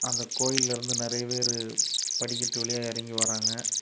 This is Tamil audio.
அந்தக் கோயிலருந்து நெறைய பேரு படிக்கட்டு வழியா இறங்கி வராங்க.